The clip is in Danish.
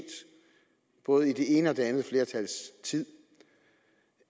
både det ene og det andets flertals tid